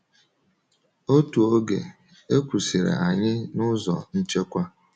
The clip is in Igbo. Otu oge, e kwụsịrị anyị n’ụzọ nchekwa.